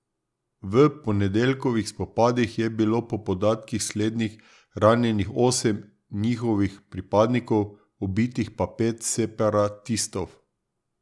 V ponedeljkovih spopadih je bilo po podatkih slednjih ranjenih osem njihovih pripadnikov, ubitih pa pet separatistov.